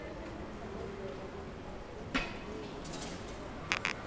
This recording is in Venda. ombedzelwa uri muhumbeli a sumbedze